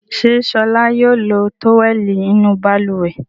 Ṣé Ṣọlá yóò lo tówẹ́lì inú balùwẹ̀?